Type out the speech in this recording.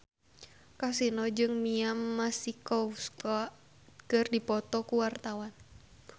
Kasino jeung Mia Masikowska keur dipoto ku wartawan